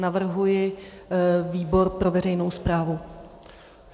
Navrhuji výbor pro veřejnou správu.